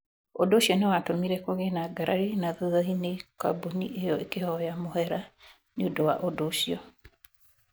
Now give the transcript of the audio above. Ũndũ ũcio nĩ watũmire kũgĩe na ngarari, na thutha-inĩ kambuni ĩyo ĩkĩhoya mũhera nĩ ũndũ wa ũndũ ucio.